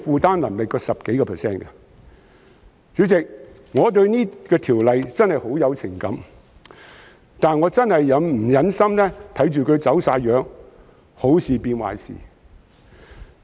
代理主席，我對這項條例草案真的很有情感，但我確實不忍心看到它"走晒樣"，好事變壞事。